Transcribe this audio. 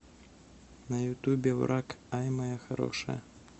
на ютубе враг ай моя хорошая